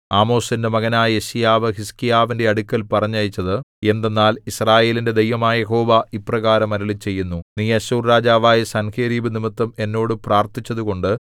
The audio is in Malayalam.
ആമോസിന്റെ മകനായ യെശയ്യാവ് ഹിസ്കീയാവിന്റെ അടുക്കൽ പറഞ്ഞയച്ചത് എന്തെന്നാൽ യിസ്രായേലിന്റെ ദൈവമായ യഹോവ ഇപ്രകാരം അരുളിച്ചെയ്യുന്നു നീ അശ്ശൂർ രാജാവായ സൻഹേരീബ് നിമിത്തം എന്നോട് പ്രാർത്ഥിച്ചതുകൊണ്ട്